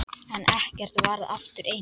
En ekkert varð aftur eins.